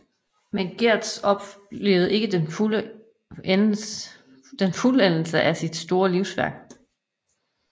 Men Getz oplevede ikke fuldendelsen af sit store livsværk